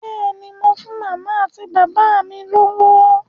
Bẹ́ẹ̀ ni, mo fún màmá àti bàbá mi lówó.